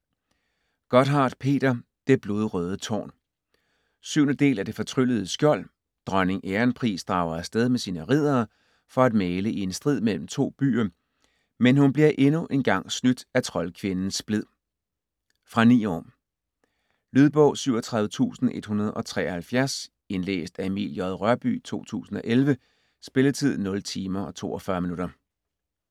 Gotthardt, Peter: Det blodrøde tårn 7. del af Det fortryllede skjold. Dronning Ærenpris drager afsted med sine riddere for at mægle i en strid mellem to byer, men hun bliver endnu en gang snydt af troldkvinden Splid. Fra 9 år. Lydbog 37173 Indlæst af Emil J. Rørbye, 2011. Spilletid: 0 timer, 42 minutter.